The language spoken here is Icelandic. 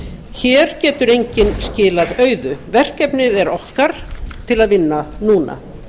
hér getur enginn skilað auðu verkefnið er okkar til að vinna núna